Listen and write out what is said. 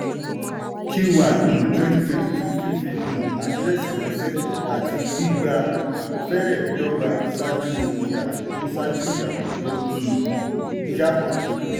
q1 um 2022 fífi um àdírẹ́sì ránṣẹ́ àti gbígba fẹrẹ̀ dọ́gba ṣáájú ìyàtọ̀ tó ṣáájú ìyàtọ̀ tó um yá.